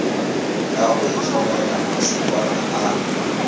ka go itlhomela mašokana a